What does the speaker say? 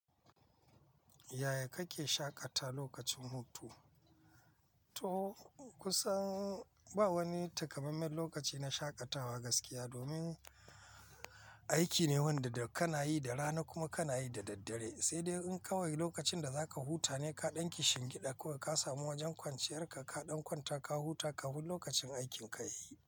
Yaya kake shaƙata lokacin hutu? To kusan ba wani takamaiman lokaci na shaƙatawa gaskiya. Domin aiki ne wanda da kana yi da rana kuma kana yi da daddare. Sai dai in kawai lokacin da za ka huta ne ka ɗanki shingiɗa ko ka samu wajen kwanciyar ka, ka ɗan kwanta ka huta ka fin lokacin aikin ka yayi.